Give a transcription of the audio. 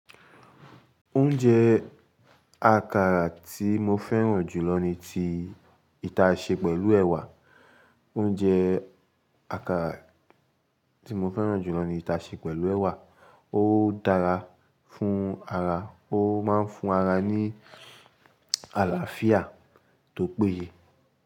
Oúnjẹ àkàrà tí mo fẹ́ràn jù lọ ni ti ìta ṣe pẹ̀lú ẹ̀wà. Oúnjẹ àkàrà tí mo fẹ́ràn jù lọ ni ìta ṣe pẹ̀lú ẹ̀wà. Ó dára fún ara, ó máa ń fún ara ní àlàáfíà tó péye.